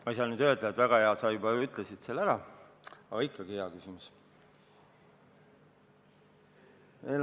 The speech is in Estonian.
Ma ei saa öelda, et väga hea küsimus, sest sa ütlesid selle juba ise ära, aga ikkagi on see hea küsimus.